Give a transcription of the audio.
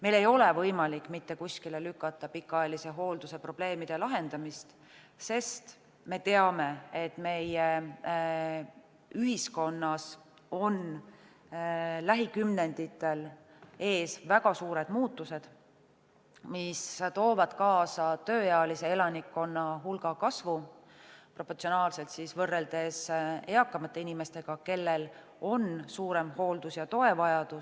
Meil ei ole pikaajalise hoolduse probleemide lahendamist võimalik mitte kuskile lükata, sest me teame, et meie ühiskonnas on lähikümnenditel ees väga suured muutused tööealise elanikkonna proportsionaalses hulgas võrreldes eakamate inimestega, kellel on suurem hooldus- ja toevajadus.